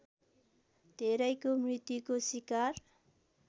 धेरैको मृत्युको सिकार